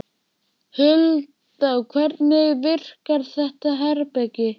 Hulda, hvernig virkar þetta herbergi?